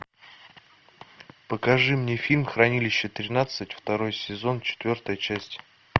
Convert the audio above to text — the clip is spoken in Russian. покажи мне фильм хранилище тринадцать второй сезон четвертая часть